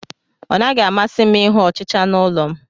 Ọ naghị m amasị ịhụ ọchịcha n'ụlọ m